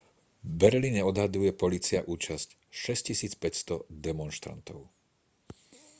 v berlíne odhaduje polícia účasť 6500 demonštrantov